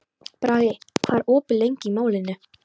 Bragi, hvað er opið lengi í Málinu?